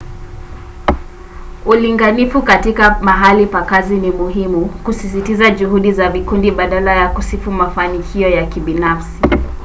ulinganifu katika mahali pa kazi ni muhimu kusisitiza juhudi za vikundi badala ya kusifu mafanikio ya kibinafsi